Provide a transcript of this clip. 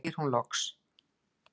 segir hún loks.